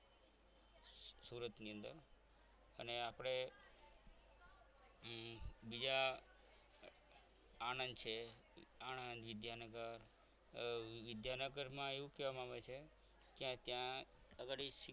સુરતની અંદર અને આપણે બીજા આનંદ છે આણંદ વિદ્યાનગર વિદ્યાનગરમાં એવું કહેવામાં આવે છે કે ત્યાં ઘડી